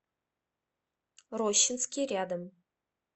рощинский рядом